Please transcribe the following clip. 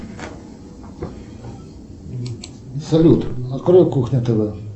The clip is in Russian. салют открой кухня тв